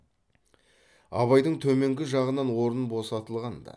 абайдың төменгі жағынан орын босатылған ды